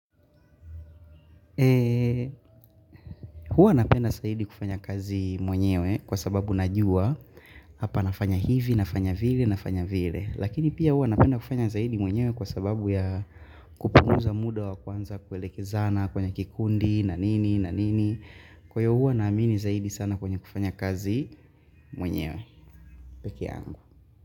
Ee huwa napenda saidi kufanya kazi mwenyewe kwa sababu najua. Hapa nafanya hivi, nafanya vile, nafanya vile. Lakini pia huwa napenda kufanya zaidi mwenyewe kwa sababu ya kupunguza muda wa kuanza kuelekezana kwenye kikundi, na nini, na nini. Kwa io huwa naamini zaidi sana kwenye kufanya kazi mwenyewe. Peke yangu.